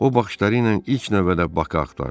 O baxışları ilə ilk növbədə Bakı axtardı.